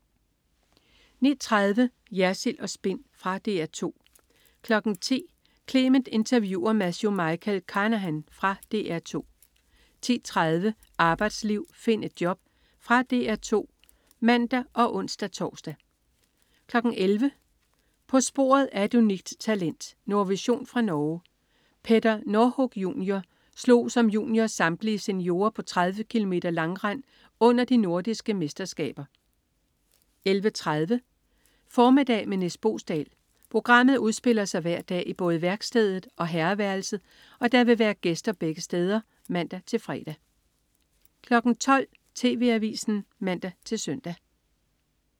09.30 Jersild & Spin. Fra DR 2 10.00 Clement interviewer Matthew Michael Carnahan. Fra DR 2 10.30 Arbejdsliv, find et job . Fra DR 2 (man og ons-tors) 11.00 På sporet af et unikt talent. Nordvision fra Norge. Petter Northug jr. slog som junior samtlige seniorer på 30 km langrend under de nordiske mesterskaber 11.30 Formiddag med Nis Boesdal. Programmet udspiller sig hver dag i både værkstedet og herreværelset, og der vil være gæster begge steder (man-fre) 12.00 TV Avisen (man-søn)